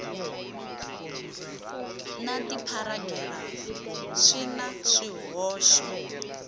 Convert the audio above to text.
na tipharagirafu swi na swihoxo